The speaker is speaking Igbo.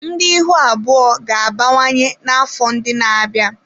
Ndị ihu abụọ ga-abawanye n'afọ ndị na-abịa.